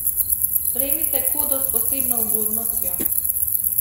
Prejmite kodo s posebno ugodnostjo!